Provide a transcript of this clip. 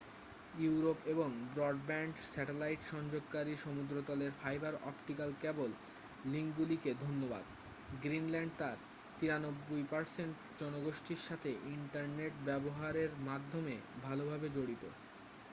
Europe এবং broadband satellite সংযোগকারী সমুদ্রতলের ফাইবার অপটিক কেবল লিঙ্কগুলিকে ধন্যবাদ গ্রীনল্যান্ড তার 93% জনগোষ্ঠীর সাথে ইন্টারনেট ব্যবহারের মাধ্যমে ভালভাবে জড়িত